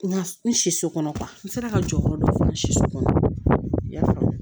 Nka n siso kɔnɔ n sera ka jɔyɔrɔ dɔ fara sisan i y'a faamu